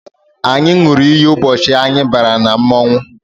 Anyị ṅụrụ iyi ụbọchị anyị bara na mmọnwụ